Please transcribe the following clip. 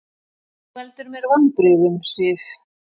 Þú veldur mér vonbrigðum, Sif.